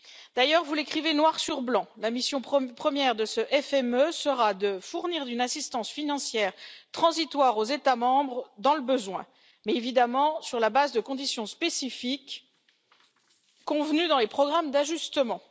Vous l'écrivez, d'ailleurs, noir sur blanc la mission première de ce FME sera de fournir une assistance financière transitoire aux États membres dans le besoin, mais, évidemment, sur la base de conditions spécifiques convenues dans les programmes d'ajustement.